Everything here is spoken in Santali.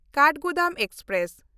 ᱠᱟᱴᱷᱜᱳᱫᱟᱢ ᱮᱠᱥᱯᱨᱮᱥ